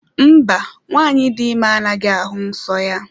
Mba, nwanyị dị ime anaghị ahụ nsọ ya.